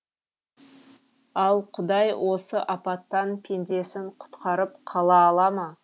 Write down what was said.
ал құдай осы апаттан пендесін құтқарып қала ала ма